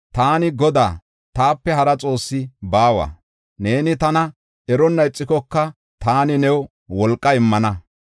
Taani Godaa; taape hara xoosse baawa; neeni tana eronna ixikoka taani new wolqa immana.